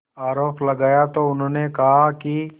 आरोप लगाया तो उन्होंने कहा कि